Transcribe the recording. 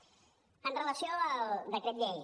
amb relació al decret llei